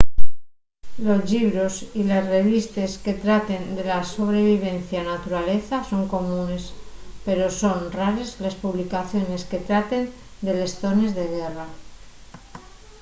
los llibros y les revistes que traten de la sobrevivencia na naturaleza son comunes pero son rares les publicaciones que traten de les zones de guerra